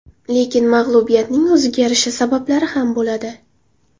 Lekin mag‘lubiyatning o‘ziga yarasha sabablari ham bo‘ladi.